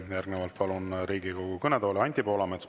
Järgnevalt palun Riigikogu kõnetooli Anti Poolametsa.